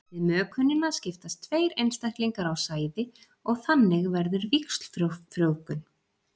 við mökunina skiptast tveir einstaklingar á sæði og þannig verður víxlfrjóvgun